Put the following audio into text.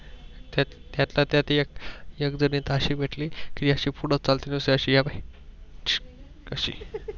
त्यातल्या त्यात एक जण असी भेटली कि आशी पूड चालत कशी